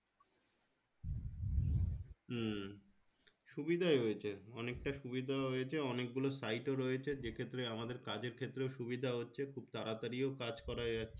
হম সুবিধাই হয়েছে অনেকটা সুবিধাও হয়েছে অনেকগুলো site ও রয়েছে যেক্ষেত্রে আমাদের কাজের ক্ষেত্রেও সুবিধা হচ্ছে খুব তাড়াতড়ি ও কাজ করা যাচ্ছে